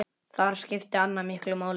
Þar skipti Anna miklu máli.